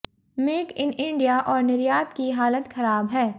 make in India और निर्यात की हालत खराब है